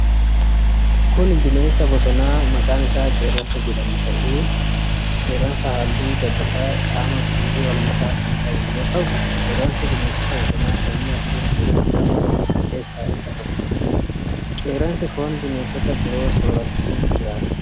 Kun bineensa bosonaa maqaan isaa qeerransa jedhamuu dha. Qeerransi haalluu dabbasaa qaamaa buburree wal makaa kan qabu yoo ta'u, qeerransi bineensota bosonaa sanyii adurree keessatti ramadaman keessaa isa tokko. Qeerransi, foon bineensota biroo soorachuun jiraata.